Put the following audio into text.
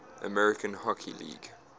american hockey league